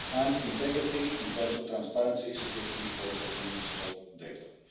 and integrity in terms of transparency, security or the use of data.